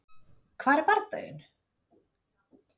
Hvar er bardaginn?